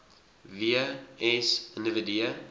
w s individue